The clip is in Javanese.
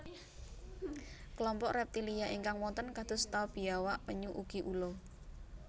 Klompok reptilia ingkang wonten kados ta biawak penyu ugi ula